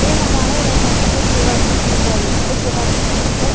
ये हमारे इलाका का एक जुगासन सेंटर है। इस जुगासन सेंटर --